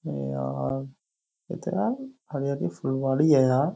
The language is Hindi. यार ये तो यार हरियाली फुलवारी है यार।